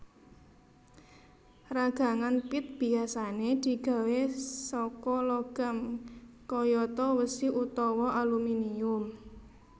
Ragangan pit biasané digawé saka logam kayata wesi utawa aluminium